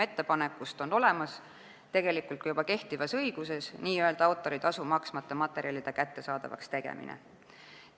Ettepaneku tuum, n-ö autoritasu maksmata materjalide kättesaadavaks tegemine, on olemas juba kehtivas õiguses.